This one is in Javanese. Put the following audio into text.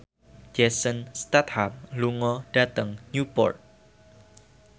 Jason Statham lunga dhateng Newport